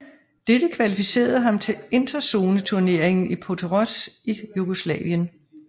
Dette kvalificerede ham til interzoneturneringen i Portoroz i Jugoslavien